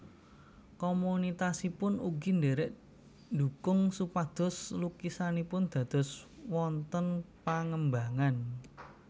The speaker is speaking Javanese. Komunitasipun ugi ndherek ndukung supados lukisanipun dados wonten pangembangan